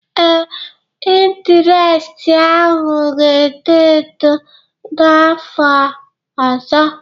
Ee, intiresti ahụ ga-eto eto n'afọ ọzọ